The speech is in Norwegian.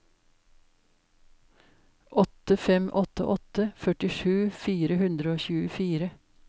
åtte fem åtte åtte førtisju fire hundre og tjuefire